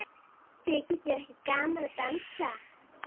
Þykir þér ekki gaman að dansa?